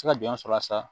se ka jɔn sɔrɔ a la sa